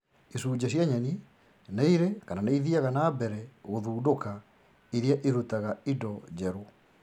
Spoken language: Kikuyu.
Icunjĩ cia nyeni nĩirĩ kana nĩithiaga na mbere gũthundũka iria irutaga indo njerũ